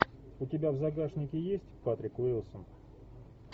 у тебя в загашнике есть патрик уилсон